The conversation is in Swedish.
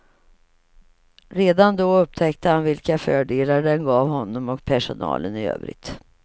Redan då upptäckte han vilka fördelar den gav honom och personalen i övrigt.